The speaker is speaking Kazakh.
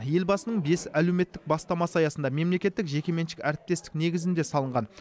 елбасының бес әлеуметтік бастамасы аясында мемлекеттік жекеменшік әріптестік негізінде салынған